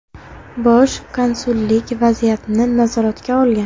Bosh konsullik vaziyatni nazoratga olgan.